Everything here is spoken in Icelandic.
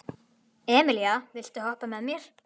Emelíana, viltu hoppa með mér?